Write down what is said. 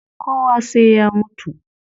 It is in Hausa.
Kowa sai ya mutu